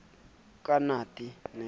ka nate e sa tiyang